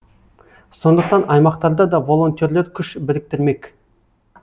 сондықтан аймақтарда да волонтерлер күш біріктірмек